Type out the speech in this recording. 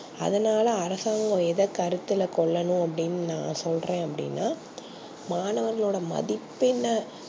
அதுனால அரசாங்கம் எத கருத்துல கொல்லனும் அப்டினா நா சொல்ற அப்டின மாணவர்கள் மதிப்பென்ன